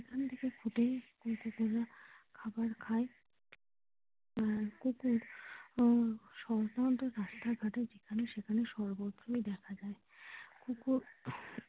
কুকুর তখন খাবার খায় কুকুর সম্ভবত রাস্তাঘাটে যেখানে সেখানে সর্বোত্তই দেখা যায় কুকুর।